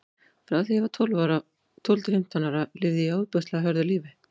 Frá því að ég var tólf til fimmtán ára lifði ég ofboðslega hörðu lífi.